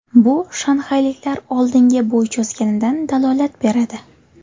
Bu shanxayliklar oldinga bo‘y cho‘zganidan dalolat beradi.